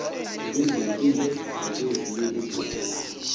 kwezempilo nakwezinye izindaba